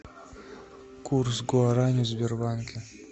курс гуарани в сбербанке